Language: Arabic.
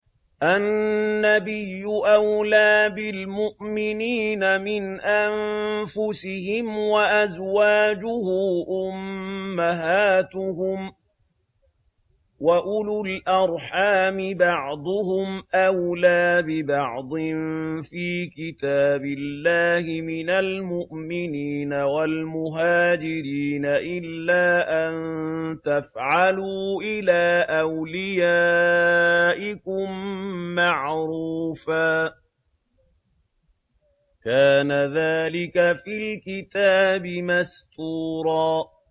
النَّبِيُّ أَوْلَىٰ بِالْمُؤْمِنِينَ مِنْ أَنفُسِهِمْ ۖ وَأَزْوَاجُهُ أُمَّهَاتُهُمْ ۗ وَأُولُو الْأَرْحَامِ بَعْضُهُمْ أَوْلَىٰ بِبَعْضٍ فِي كِتَابِ اللَّهِ مِنَ الْمُؤْمِنِينَ وَالْمُهَاجِرِينَ إِلَّا أَن تَفْعَلُوا إِلَىٰ أَوْلِيَائِكُم مَّعْرُوفًا ۚ كَانَ ذَٰلِكَ فِي الْكِتَابِ مَسْطُورًا